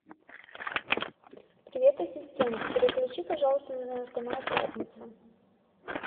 привет ассистент переключи пожалуйста на канал пятница